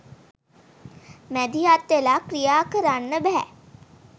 මැදිහත් වෙලා ක්‍රියාකරන්න බැහැ